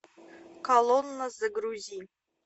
колонна загрузи